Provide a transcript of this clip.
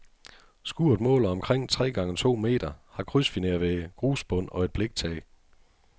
Skuret måler omkring tre gange to meter, har krydsfinervægge, grusbund og et bliktag.